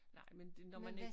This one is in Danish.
Nej men det når man ik